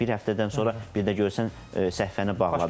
Bir həftədən sonra bir də görürsən səhifəni bağladı.